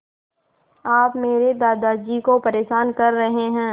आप मेरे दादाजी को परेशान कर रहे हैं